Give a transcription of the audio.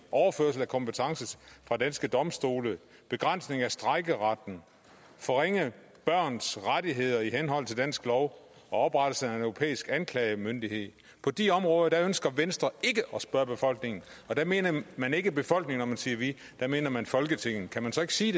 overførsel af kompetence fra danske domstole begrænsning af strejkeretten forringelse af børns rettigheder i henhold til dansk lov oprettelse af en europæisk anklagemyndighed på de områder ønsker venstre ikke at spørge befolkningen og der mener man ikke befolkningen når man siger vi der mener man folketinget kan man så ikke sige